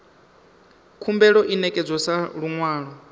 khumbelo i ṋekedzwa sa luṅwalo